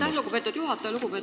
Aitäh, lugupeetud juhataja!